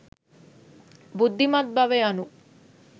බුද්ධිමත් බව යනු